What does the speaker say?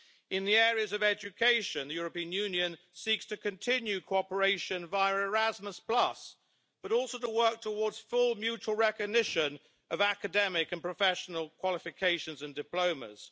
In the area of education, the European Union seeks to continue cooperation via Erasmus, but also to work towards full mutual recognition of academic and professional qualifications and diplomas.